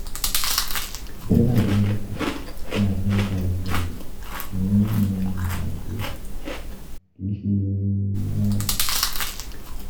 dọ́là Amẹrika ni a fi n ta epo rọbi ni Naijiria, kì í ṣe naira.